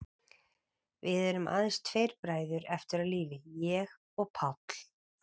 Við erum aðeins tveir bræður eftir á lífi, ég og Páll.